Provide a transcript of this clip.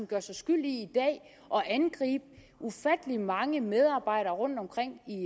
gør sig skyldig i at angribe ufattelig mange medarbejdere rundtomkring